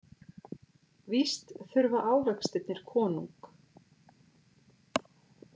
Víst þurfa ávextirnir konung.